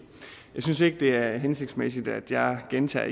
jeg synes ikke det er hensigtsmæssigt at jeg gentager